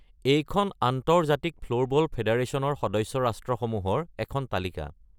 এইখন আন্তৰ্জাতিক ফ্ল'ৰবল ফেডাৰেচনৰ সদস্য ৰাষ্ট্ৰসমূহৰ এখন তালিকা।